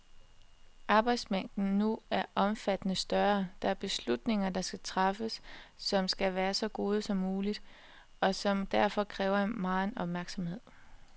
Arbejdsmængden nu er omfattende større, der er beslutninger, der skal træffes, som skal være så gode som muligt, og som derfor kræver megen opmærksomhed.